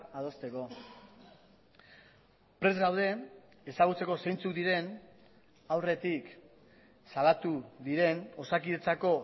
adosteko prest gaude ezagutzeko zeintzuk diren aurretik salatu diren osakidetzako